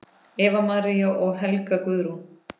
Eva María og Helga Guðrún.